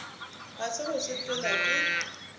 ga se go sepela ke